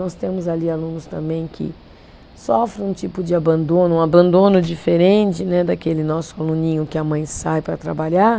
Nós temos ali alunos também que sofrem um tipo de abandono, um abandono diferente né, daquele nosso aluninho que a mãe sai para trabalhar.